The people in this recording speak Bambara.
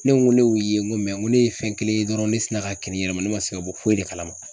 Ne ko ne y'u ye n ko ko ne ye fɛn kelen ye dɔrɔn ne sina ka kirin n yɛrɛ ma ne ma se ka bɔ foyi de kalama.